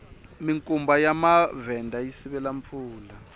minkumba ya mavhenda yi sivela mpfula